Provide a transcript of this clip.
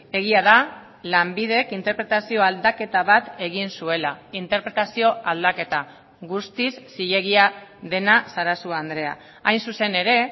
egia da lanbidek interpretazio aldaketa bat egin zuela interpretazio aldaketa guztiz zilegia dena sarasua andrea hain zuzen ere